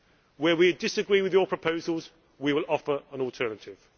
Where we disagree with your proposals, we will offer an alternative.